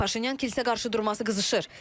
Paşinyan kilsə qarşıdurması qızışır.